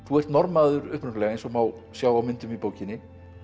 ert Norðmaður upprunalega eins og má sjá á myndum í bókinni